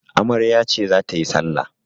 Amarya ce za ta yi salla.